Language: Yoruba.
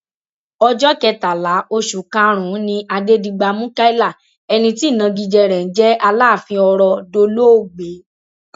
ọjọ kẹtàlá oṣù karùnún ni adẹdigba mukaila ẹni tí ìnagijẹ rẹ ń jẹ aláàfin ọrọ dolóògbé